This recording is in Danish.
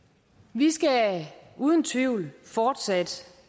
vi skal uden tvivl fortsat